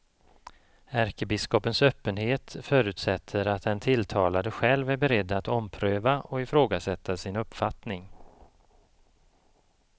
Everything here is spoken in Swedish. Ärkebiskopens öppenhet förutsätter att den tilltalade själv är beredd att ompröva och ifrågasätta sin uppfattning.